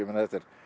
þetta er